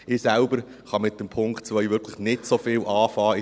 Ich selber kann mit dem Punkt 2 wirklich nicht so viel anfangen.